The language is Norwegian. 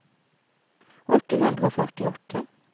åtte hundre og førtiåtte